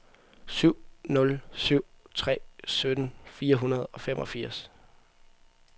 syv nul syv tre sytten fire hundrede og femogfirs